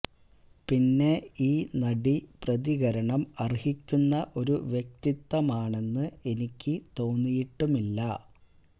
പിന്നെ ഈ നടി പ്രതികരണം അര്ഹിക്കുന്ന ഒരു വ്യക്തിത്വമാണെന്ന് എനിക്ക് തോന്നിയിട്ടുമില്ല